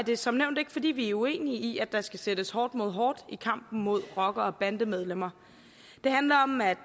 det som nævnt ikke fordi vi er uenige i at der skal sættes hårdt mod hårdt i kampen mod rockere og bandemedlemmer det handler om at